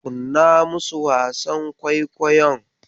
Kunna musu wasan kwaikwayon.